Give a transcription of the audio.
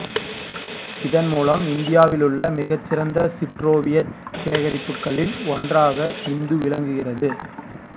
இதன் மூலம் இந்தியாவிலுள்ள மிகச் சிறந்த சிற்றோவியச் சேகரிப்புக்களில் ஒன்றாக இந்து விளங்குகிறது